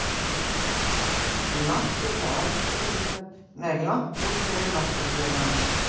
En markhyggja Aristótelesar nær líka langt út fyrir náttúrufræði hans.